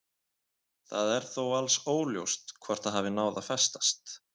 Það er þó alls óljóst hvort það hafi náð að festast.